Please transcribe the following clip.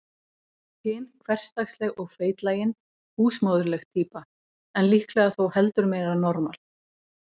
Hin hversdagsleg og feitlagin, húsmóðurleg týpa, en líklega þó heldur meira normal.